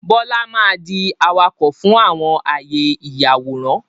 Bọlá máa di awakọ̀ fún àwọn àyè ìyàwórán